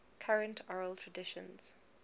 current oral traditions